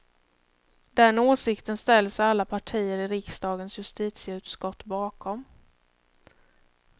Den åsikten ställer sig alla partier i riksdagens justitieutskott bakom.